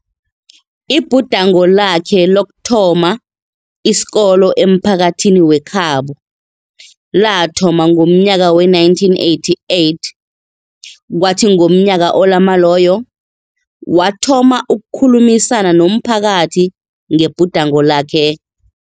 Ibhudango lakhe lokuthoma isikolo emphakathini wekhabo lathoma ngomnyaka we-1988, kwathi ngomnyaka olama loyo, wathoma ukukhulumisana nomphakathi ngebhudango lakhe.